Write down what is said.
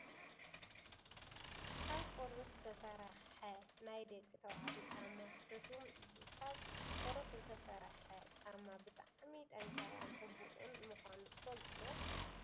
ካብ ቆርበት ዝተሰረሓ ናይ ደቂ ተባዕትዮ ጫማ ሑቱም እዩ። ካብ ቆርበት ዝተሰረሓ ጫማ ብጣዕሚ ጠንካራን ፅቡቅን ምኳኑ ትፈልጡ ዶ ?